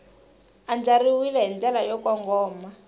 andlariwile hi ndlela yo kongoma